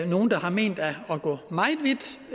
nogle har ment er